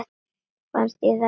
Fannst þér það ekki líka?